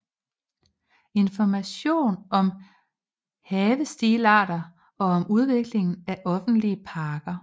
Information om havestilarter og om udviklingen af offentlige parker